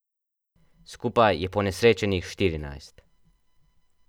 Skupaj je ponesrečenih štirinajst.